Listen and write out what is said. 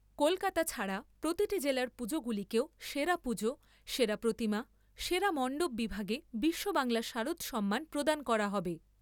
কলকাতা ছাড়া প্রতিটি জেলার পুজোগুলিকেও সেরা পুজো, সেরা প্রতিমা, সেরা মন্ডপ বিভাগে বিশ্ববাংলা শারদ সম্মান প্রদান করা হবে।